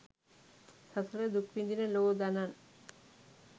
සසර දුක් විඳින ලෝ දනන්